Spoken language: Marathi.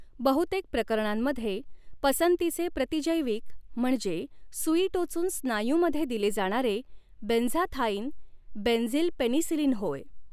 बहुतेक प्रकरणांमध्ये पसंतीचे प्रतिजैविक म्हणजे सुई टोचून स्नायूमध्ये दिले जाणारे बेंझाथाइन बेंझिलपेनिसिलिन होय.